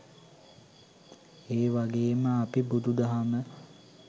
ඒවගේම අපි බුදු දහම